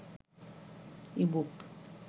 ebook